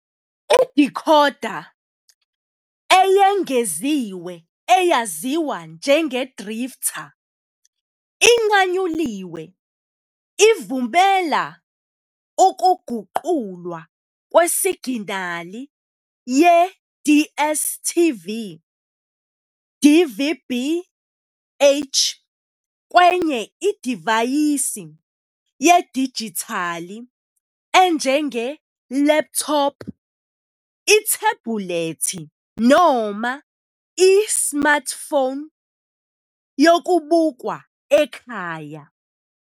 Idikhoda eyengeziwe eyaziwa njengeDrifta, inqanyuliwe ivumela ukuguqulwa kwesiginali ye-DStv DVB-H kwenye idivaysi yedijithali enjenge-laptop, ithebhulethi noma i-smartphone yokubukwa ekhaya.